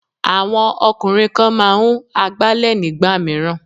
Àwọn ọkùnrin kan máa ń Agbálẹ̀ nígbà mìíràn.